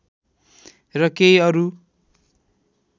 र केही अरु